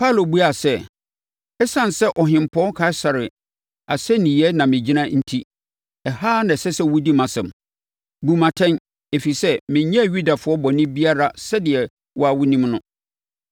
Paulo buaa sɛ, “Esiane sɛ Ɔhempɔn Kaesare asɛnniiɛ na megyina enti, ɛha ara na ɛsɛ sɛ wɔdi mʼasɛm, bu me atɛn, ɛfiri sɛ menyɛɛ Yudafoɔ bɔne biara sɛdeɛ wo ara wonim no.